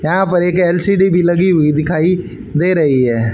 यहां पर एक एल_सी_डी भी लगी हुई दिखाई दे रही है।